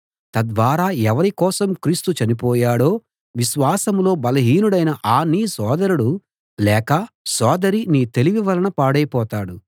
తద్వారా ఎవరి కోసం క్రీస్తు చనిపోయాడో విశ్వాసంలో బలహీనుడైన ఆ నీ సోదరుడు లేక సోదరి నీ తెలివి వలన పాడైపోతాడు